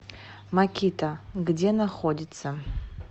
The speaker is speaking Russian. макита где находится